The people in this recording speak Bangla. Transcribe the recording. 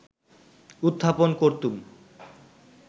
উত্থাপন করতুম